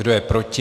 Kdo je proti?